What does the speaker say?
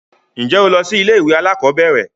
Ǹjẹ́ o lọ sí ilé ìwé alákọ̀berẹ̀?